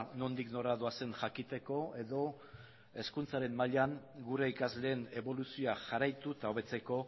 nondik nora doazen jakiteko edo hezkuntzaren mailan gure ikasleen eboluzioa jarraitu eta hobetzeko